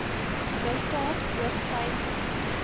misdaad hoogty vier